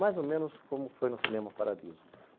Mais ou menos como foi no Cinema Paradiso.